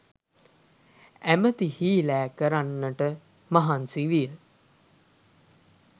ඇමැති හීලෑ කරගන්නට මහන්සි විය